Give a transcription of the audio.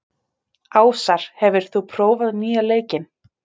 Ásar, hefur þú prófað nýja leikinn?